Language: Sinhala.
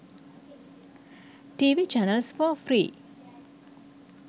tv channels for free